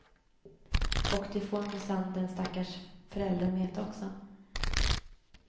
Och det får minsann den stackars föräldern veta också.